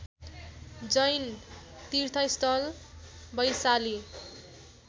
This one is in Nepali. जैन तीर्थस्थल वैशाली